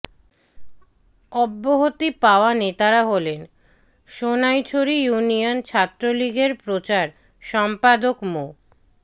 অব্যহতি পাওয়া নেতারা হলেন সোনাইছড়ি ইউনিয়ন ছাত্রলীগের প্রচার সম্পাদক মো